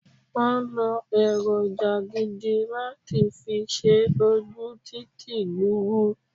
Won lo èròjà gidi láti fi ṣe ojú títì gburu